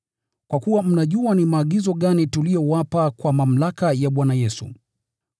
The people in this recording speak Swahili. Kwa kuwa mnajua ni maagizo gani tuliyowapa kwa mamlaka ya Bwana Yesu.